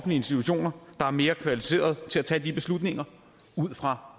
institutioner der er mere kvalificeret til at tage de beslutninger ud fra